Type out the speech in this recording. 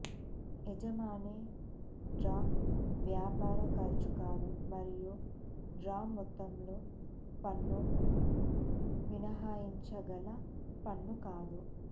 యజమాని డ్రా వ్యాపార ఖర్చు కాదు మరియు డ్రా మొత్తంలో పన్ను మినహాయించగల పన్ను కాదు